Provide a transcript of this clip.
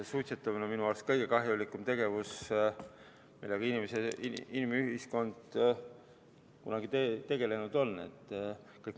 Suitsetamine on minu arust kõige kahjulikum tegevus, millega inimühiskond kunagi tegelenud on.